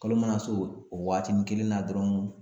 Kalo mana s'o waagatini kelen na dɔrɔn